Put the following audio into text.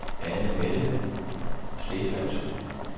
Annemette Stephansen